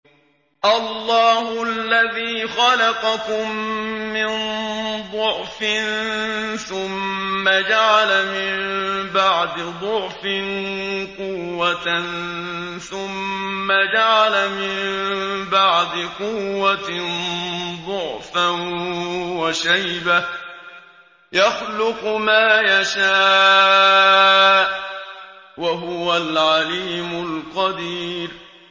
۞ اللَّهُ الَّذِي خَلَقَكُم مِّن ضَعْفٍ ثُمَّ جَعَلَ مِن بَعْدِ ضَعْفٍ قُوَّةً ثُمَّ جَعَلَ مِن بَعْدِ قُوَّةٍ ضَعْفًا وَشَيْبَةً ۚ يَخْلُقُ مَا يَشَاءُ ۖ وَهُوَ الْعَلِيمُ الْقَدِيرُ